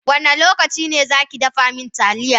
Wanda lokaci ne za ki zu ki dafa min taliya?